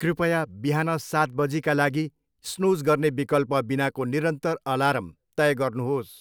कृपया बिहान सात बजीका लागि स्नुज गर्ने विकल्प बिनाको निरन्तर अलार्म तय गर्नुहोस्।